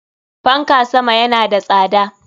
Fanka sama yana da tsada.